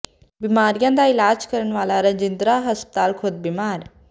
ਬਿਮਾਰੀਆਂ ਦਾ ਇਲਾਜ ਕਰਨ ਵਾਲਾ ਰਜਿੰਦਰਾ ਹਸਪਤਾਲ ਖੁਦ ਬਿਮਾਰ